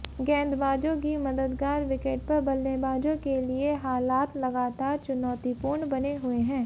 गेंदबाजों की मददगार विकेट पर बल्लेबाजों के लिए हालात लगातार चुनौतीपूर्ण बने हुए हैं